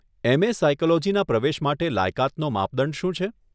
MA. સાયકોલોજીના પ્રવેશ માટે લાયકાતનો માપદંડ શું છે?